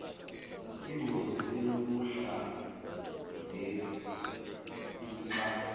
ingozi enokuhla ngeuxa